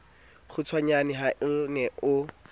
kgutshwanyane ha o ne o